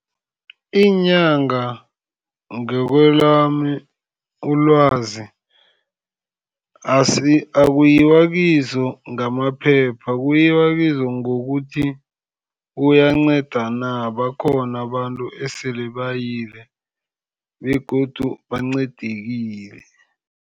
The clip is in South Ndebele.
Iinyanga ngakwelami ilwazi akuyiwa kizo ngamaphepha, kuyiwa kizo ngokuthi uyanceda na, bakhona abantu esele bayile begodu bancedekile.